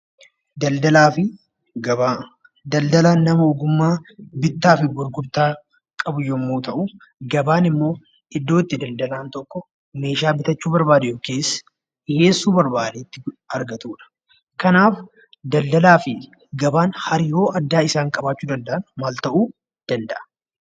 Daldalaa fi Gabaa Daldalaan nama ogummaa bittaa fi gurgurtaa qabu yommuu ta'u, gabaan immoo iddoo itti daldalaan tokko meeshaa bitachuu barbaade yookiis dhiyeessuu barbaade itti argatuu dha. Kanaaf, daldalaa fi gabaan hariiroo addaa isaan qabaachuu danda'an maal ta'uu danda'a?